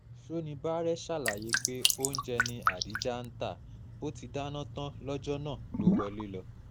sonibáre ṣàlàyé pé oúnjẹ ni adija ń ta bó ti dáná tán lọ́jọ́ náà ló wọlé lọ